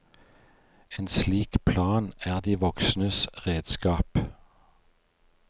En slik plan er de voksnes redskap.